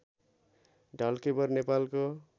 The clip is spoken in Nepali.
ढल्केवर नेपालको